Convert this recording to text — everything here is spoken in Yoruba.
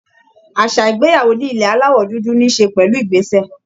Àṣà ìgbéyàwó ní ilẹ̀ Aláwọ̀ dúdú ní í ṣe pẹ̀lú ìgbésẹ̀